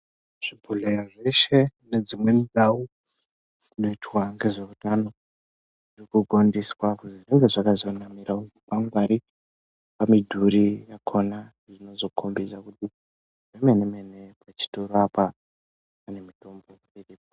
Zvibhodhleya zveshe nedzimweni ndau dzinoitwa ngezveutano zviri kugondiswa kuzi zvinge zvakaiswa zvikwangwari mumidhuri yakona inozokombedza kuti zvemene mene pachitoro apa panemitombo iripo.